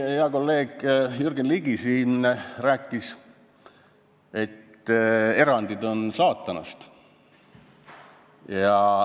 Hea kolleeg Jürgen Ligi rääkis siin, et erandid on saatanast.